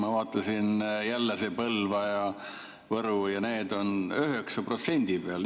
Ma vaatasin, et jälle see Põlva ja Võru on 9% peal.